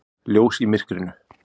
Ljós í myrkrinu.